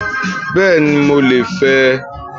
Bẹ́ẹ̀ni mo lè fẹ́ ẹ